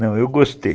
Não, eu gostei.